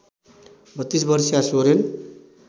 ३२ वर्षीया सोरेन